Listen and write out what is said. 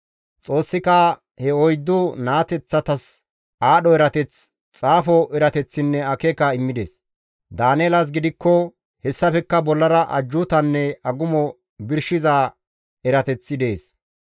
Xoossika he oyddu naateththatas aadho erateth, xaafo erateththinne akeeka immides; Daaneelas gidikko hessafekka bollara ajjuutanne agumo birshiza erateth dees.